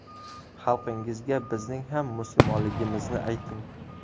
Xalqingizga bizning ham musulmonligimizni ayting.